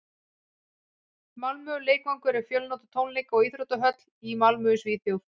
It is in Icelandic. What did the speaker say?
malmö leikvangur er fjölnota tónleika og íþróttahöll í malmö í svíþjóð